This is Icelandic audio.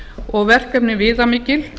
og verkefnin viðamikil